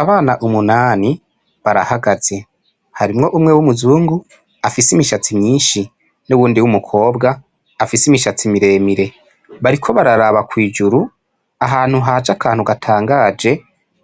Abana umunani barahagaze, hari umwe w'umuzungu afise imishatsi myinshi n'uwundi w'umukobwa afise imishatsi miremire, bariko bararaba kw'ijuru ahantu haje akantu gatangaje